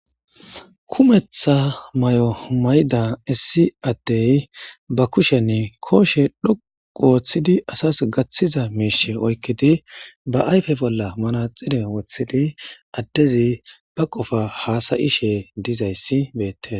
Kumetha mayomayda adey bakushe gidon othizi asis gathida mishe oyikiidi ba ayipe bolla manathire wothidi adezi dhoqugidi hasayshedizays betes